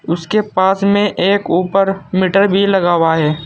उसके पास में एक ऊपर मीटर भी लगा हुआ है।